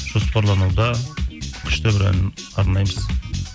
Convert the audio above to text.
жоспарлануда күшті бір ән арнаймыз